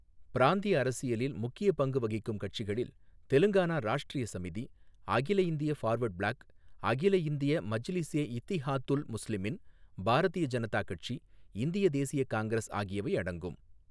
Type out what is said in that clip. பிராந்திய அரசியலில் முக்கியப் பங்கு வகிக்கும் கட்சிகளில் தெலுங்கானா ராஷ்ட்ரிய சமிதி, அகில இந்திய ஃபார்வட் பிளாக், அகில இந்திய மஜ்லிஸே இத்திஹாதுல் முஸ்லிமீன், பாரதிய ஜனதா கட்சி, இந்திய தேசிய காங்கிரஸ் ஆகியவை அடங்கும்.